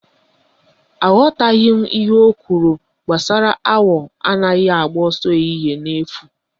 Aghọtaghị m ihe ọ kwụrụ gbasara awọ anaghị agba ọsọ ehihie n'efu